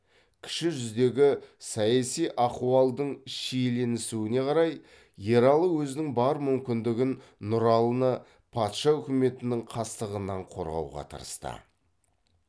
кіші жүздегі саяси ахуалдың шиеленісуіне қарай ералы өзінің бар мүмкіндігін нұралыны патша үкіметінің қастығынан қорғауға тырысты